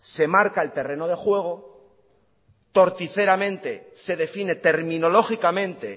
se marca el terreno de juego poríferamente se define terminológicamente